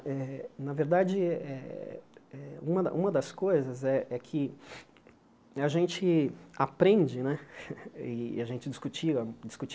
Eh na verdade, eh eh eh uma uma das coisas é é que a gente aprende né, e a gente discutia discute